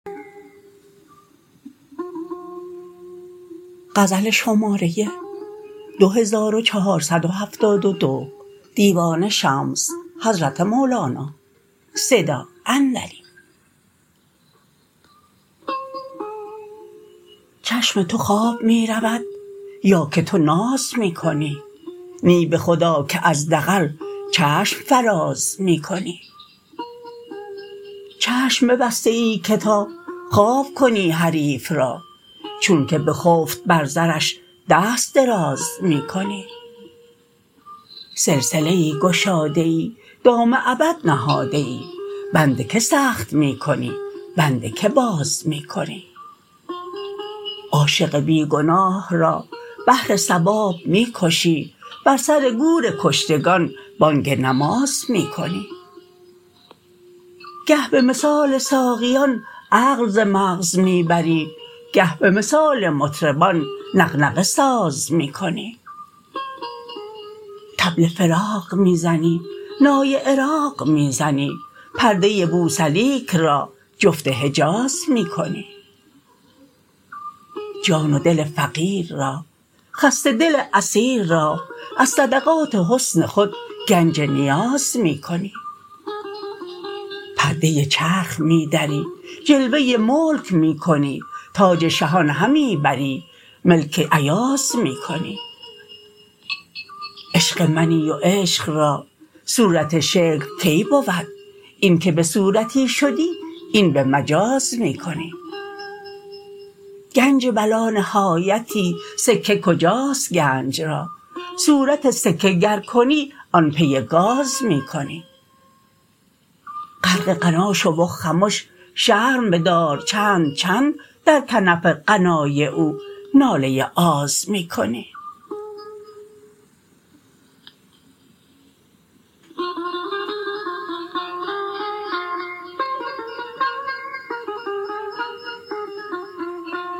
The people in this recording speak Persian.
چشم تو خواب می رود یا که تو ناز می کنی نی به خدا که از دغل چشم فراز می کنی چشم ببسته ای که تا خواب کنی حریف را چونک بخفت بر زرش دست دراز می کنی سلسله ای گشاده ای دام ابد نهاده ای بند که سخت می کنی بند که باز می کنی عاشق بی گناه را بهر ثواب می کشی بر سر گور کشتگان بانگ نماز می کنی گه به مثال ساقیان عقل ز مغز می بری گه به مثال مطربان نغنغه ساز می کنی طبل فراق می زنی نای عراق می زنی پرده بوسلیک را جفت حجاز می کنی جان و دل فقیر را خسته دل اسیر را از صدقات حسن خود گنج نیاز می کنی پرده چرخ می دری جلوه ملک می کنی تاج شهان همی بری ملک ایاز می کنی عشق منی و عشق را صورت شکل کی بود اینک به صورتی شدی این به مجاز می کنی گنج بلانهایتی سکه کجاست گنج را صورت سکه گر کنی آن پی گاز می کنی غرق غنا شو و خمش شرم بدار چند چند در کنف غنای او ناله آز می کنی